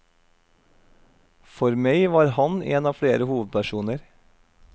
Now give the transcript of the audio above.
For meg var han en av flere hovedpersoner.